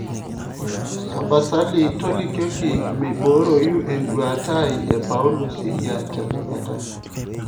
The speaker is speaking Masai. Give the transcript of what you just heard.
tapasali tolikioki meiboroi eduata ai e paulo siria tenakata